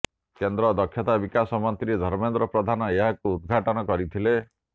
କେନ୍ଦ୍ର ଦକ୍ଷତା ବିକାଶ ମନ୍ତ୍ରୀ ଧର୍ମେନ୍ଦ୍ର ପ୍ରଧାନ ଏହାକୁ ଉଦ୍ଘାଟନ କରିଥିଲେ